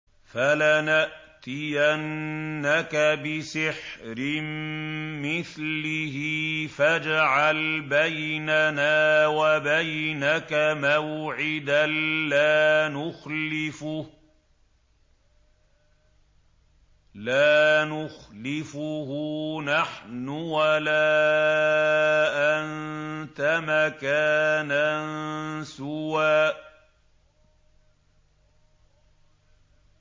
فَلَنَأْتِيَنَّكَ بِسِحْرٍ مِّثْلِهِ فَاجْعَلْ بَيْنَنَا وَبَيْنَكَ مَوْعِدًا لَّا نُخْلِفُهُ نَحْنُ وَلَا أَنتَ مَكَانًا سُوًى